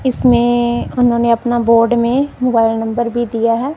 इसमें उन्होंने अपना बोर्ड में मोबाइल नंबर भी दिया हैं।